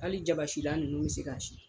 Hali jabasilan ninnu bɛ se k'a si